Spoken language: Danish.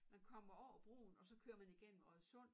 Man kommer over broen og så kører man igennem Oddesund